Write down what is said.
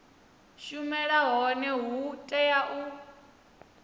shumela hone hu tea u